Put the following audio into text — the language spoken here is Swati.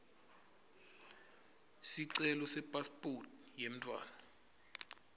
sicelo sepasiphoti yemntfwana